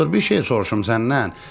Doktor, bir şey soruşum səndən.